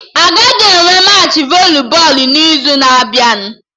Agaghị enwe Machị voli bọọlụ n'izu na-abịa